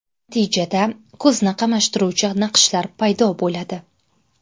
Natijada, ko‘zni qamashtiruvchi naqshlar paydo bo‘ladi.